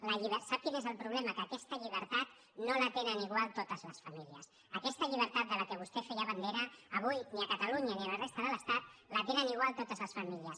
sap quin és el problema que aquesta llibertat no la tenen igual totes les famílies aquesta llibertat de la qual vostè feia bandera avui ni a catalunya ni a la resta de l’estat la tenen igual totes les famílies